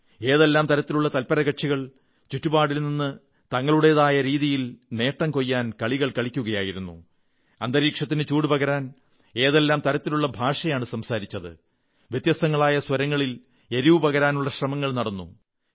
ഏതെല്ലാം തരത്തിലുള്ള തത്പരകക്ഷികൾ ചുറ്റുപാടിൽ നിന്ന് തങ്ങളുടേതായ രീതിയിൽ നേട്ടം കൊയ്യാൻ കളികൾ കളിക്കുകയായിരുന്നു അന്തരീക്ഷത്തിന് ചൂടുപകരാൻ ഏതെല്ലാം തരത്തിലുള്ള ഭാഷയാണു സംസാരിച്ചത് വ്യത്യസ്ഥങ്ങളായ സ്വരങ്ങളിൽ എരിവു പകരാനുമുള്ള ശ്രമങ്ങൾ നടന്നു